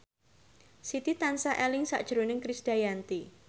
Siti tansah eling sakjroning Krisdayanti